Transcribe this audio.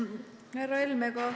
Härra Helme!